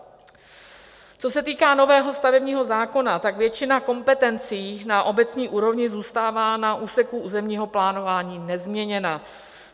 Co se týká nového stavebního zákona, tak většina kompetencí na obecní úrovni zůstává na úseku územního plánování nezměněna.